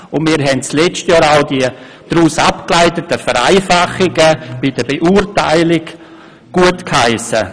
Und wir haben auch im vergangenen Jahr die daraus abgeleiteten Vereinfachungen bei der Beurteilung gutgeheissen.